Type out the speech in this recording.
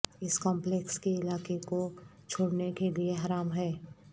اس complex کے علاقے کو چھوڑنے کے لئے حرام ہے